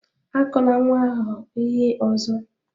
Akụla nwa ahụ ihe ọzọ!